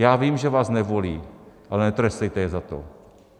Já vím, že vás nebolí, ale netrestejte je za to.